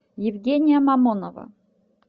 евгения мамонова